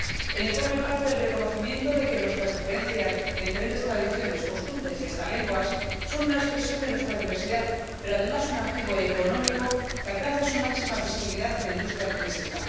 El informe parte del reconocimiento de que nuestras diferentes tradiciones, costumbres y hasta lenguas son una expresión de nuestra diversidad pero, además, un activo económico que alcanza su máxima visibilidad en la industria turística.